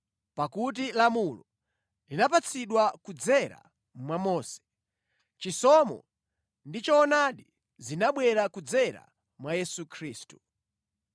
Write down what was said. Pakuti lamulo linapatsidwa kudzera mwa Mose; chisomo ndi choonadi zinabwera kudzera mwa Yesu Khristu.